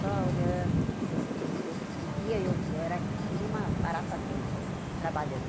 Só olhando hã eu... De dia eu eu era que nem uma barata tonta, trabalhando.